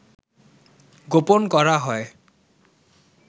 গোপন করা হয়